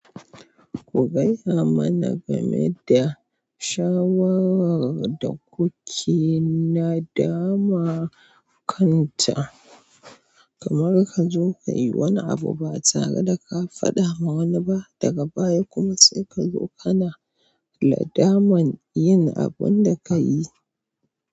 Ku gaya mana game da shawarar da kuke na dama kanta. Kamar ka zo ka yi wani abu ba tare da ka faɗa ma wani ba daga baya kuma sai ka zo kana nadaman yin abun da ka yi.